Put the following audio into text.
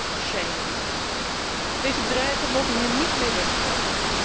Naming and shaming. Deze bedrijven mogen hier niet mee wegkomen.